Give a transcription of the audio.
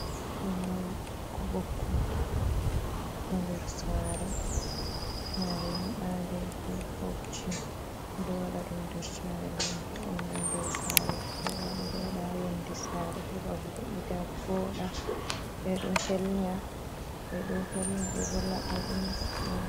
Fulawa boko boko do nder sare, sare nyibande be bobji be do wada dum nder sare gam vo'ungo nder sare voda be do wada ha yonde sare heba vo’ita voda be do helnya be do laba dum.